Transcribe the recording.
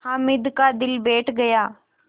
हामिद का दिल बैठ गया